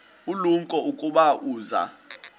ulumko ukuba uza